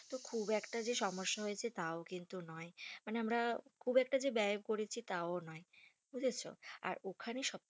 তো খুব একটা যে সমস্যা হয়েছে তাও কিন্তু নয়। মানে আমরা খুব একটা যে ব্যায় করেছি তাও নয়। বুঝেছো? আর ওখানে সব